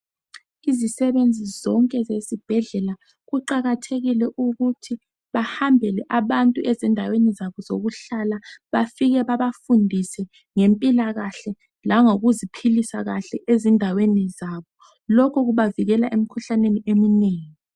Izisebenzi zonke zesibhedlela kuqakathekile ukuthi bahambele abantu ezindaweni zabo zokuhlala bafike babafundise ngempilakahle langokuzipilisa kahle ezindaweni labo loku kubavikela emkhuhlaneni eminengi